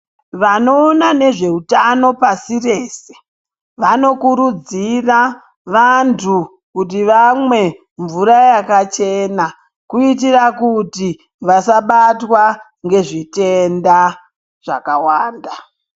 Vanoona nezveutano pasi rese vanokurudzira vantu kuti vamwe mvura yakachena kuitira kuti vasabatwa ngezvitenda zvakawanda.